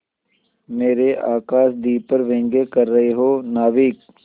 मेरे आकाशदीप पर व्यंग कर रहे हो नाविक